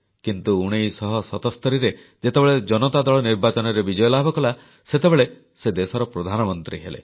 କିନ୍ତୁ 1977ରେ ଯେତେବେଳେ ଜନତା ଦଳ ନିର୍ବାଚନରେ ବିଜୟ ଲାଭ କଲା ସେତେବେଳେ ସେ ଦେଶର ପ୍ରଧାନମନ୍ତ୍ରୀ ହେଲେ